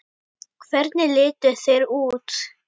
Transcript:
Hvernig litu þeir út?